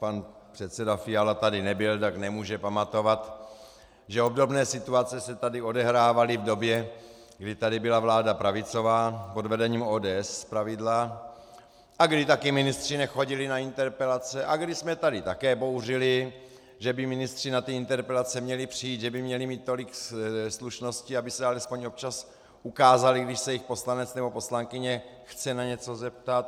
Pan předseda Fiala tady nebyl, tak nemůže pamatovat, že obdobné situace se tady odehrávaly v době, kdy tady byla vláda pravicová, pod vedením ODS zpravidla, a kdy také ministři nechodili na interpelace a kdy jsme tady také bouřili, že by ministři na ty interpelace měli přijít, že by měli mít tolik slušnosti, aby se alespoň občas ukázali, když se jich poslanec nebo poslankyně chce na něco zeptat.